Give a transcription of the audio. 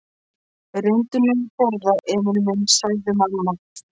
Reyndu nú að borða, Emil minn, sagði mamma.